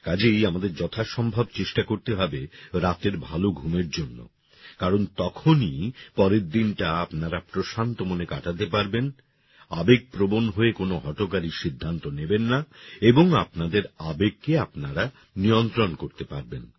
কাজেই আমাদের যথাসম্ভব চেষ্টা করতে হবে রাতের ভালো ঘুমের জন্য কারণ তখনই পরের দিনটা আপনারা প্রশান্ত মনে কাটাতে পারবেন আবেগ প্রবণ হয়ে কোন হঠকারী সিদ্ধান্ত নেবেন না এবং আপনাদের আবেগকে আপনারা নিয়ন্ত্রণ করতে পারবেন